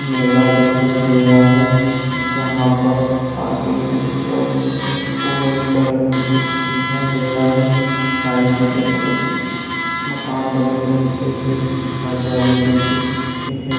मेला दिखाई दे रहा है जहाँ पर आगे की ओर एक ऑरेंज कलर में कुछ दिखाई दे रहा है साइड में कुछ मकान बने हुए दिखरे हैं कुछ हरियाली दिख रही है।